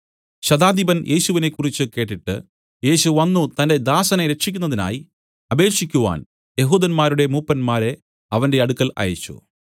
ശതാധിപൻ യേശുവിനെക്കുറിച്ച് കേട്ടിട്ട് യേശു വന്നു തന്റെ ദാസനെ രക്ഷിക്കുന്നതിനായി അപേക്ഷിക്കുവാൻ യെഹൂദന്മാരുടെ മൂപ്പന്മാരെ അവന്റെ അടുക്കൽ അയച്ചു